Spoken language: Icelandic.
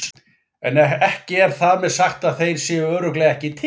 En ekki er þar með sagt að þeir séu örugglega ekki til.